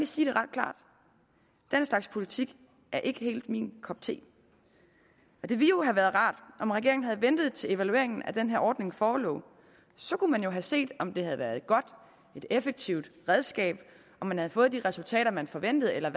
sige det ret klart den slags politik er ikke helt min kop te det ville jo have været rart om regeringen havde ventet til evalueringen af den her ordning forelå så kunne man have set om det havde været et godt og effektivt redskab om man havde fået de resultater man forventede eller